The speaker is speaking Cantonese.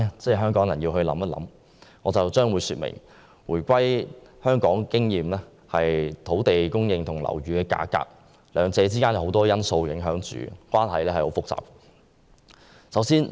接下來，我將會說明，根據香港回歸後的經驗，土地供應和樓宇價格兩者之間的關係受很多因素影響，相當複雜。